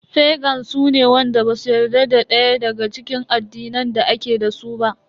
Fagans su ne wanda basu yarda da daya daga cikin addinan da ake dasu ba.